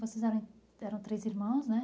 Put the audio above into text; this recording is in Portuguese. Vocês eram eram três irmãos, né?